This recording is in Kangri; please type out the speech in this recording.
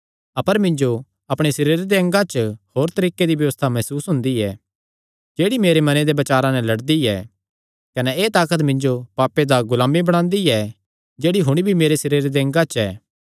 अपर मिन्जो अपणे सरीरे दे अंगा च होर तरीके दी व्यबस्था मसूस हुंदी ऐ जेह्ड़ी मेरे मने दे बचारां नैं लड़दी ऐ कने एह़ ताकत मिन्जो पापे दा गुलाम बणादी ऐ जेह्ड़ी हुण भी मेरे सरीरे दे अंगा च ऐ